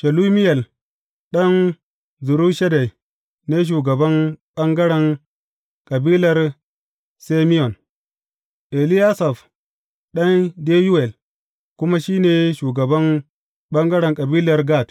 Shelumiyel ɗan Zurishaddai ne shugaban ɓangaren kabilar Simeyon, Eliyasaf ɗan Deyuwel kuma shi ne shugaban ɓangaren kabilar Gad.